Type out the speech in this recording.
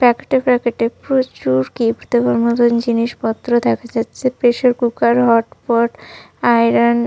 প্যাকেটে প্যাকেটে প্রচুর গিফট দেওয়ার মতোন জিনিসপত্র দেখা যাচ্ছে। Pressure cooker hot pot iron.